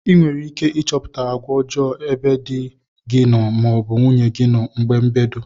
ịnwerike ichọpụta agwa ọjo ebe di gi noo ma ọ bụ nwunye gi na oge mbedo.